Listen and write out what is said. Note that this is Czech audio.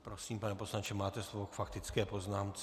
Prosím, pane poslanče, máte slovo k faktické poznámce.